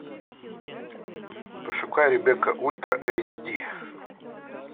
пошукай ребекка ультра эйч ди